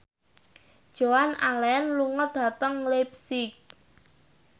Joan Allen lunga dhateng leipzig